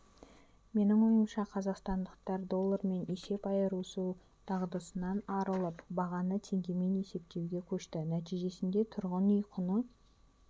менің ойымша қазақстандықтар доллармен есеп айырысу дағдысынан арылып бағаны теңгемен есептеуге көшті нәтижесінде тұрғын үй құны